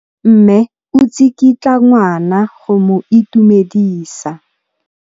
Mme o tsikitla ngwana go mo itumedisa.